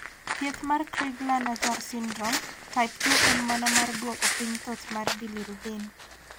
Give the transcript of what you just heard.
Thieth mar Crigler Najjar syndrome, type 2 en mana mar duoko piny thoth mar bilirubin